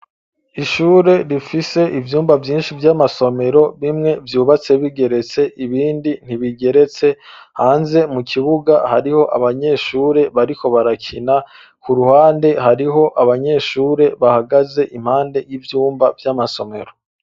Ishure rifise ivyumba vyinshi vy'amasomero bimwe vyubatse bigeretse ibindi ntibigeretse, hanze mu kibuga hariho abanyeshure bariko barakina ku ruhande hariho abanyeshure bahagaze impande y'ivyumba vy'amasomero.